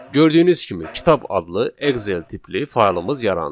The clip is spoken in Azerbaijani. Gördüyünüz kimi kitab adlı Excel tipli faylımız yarandı.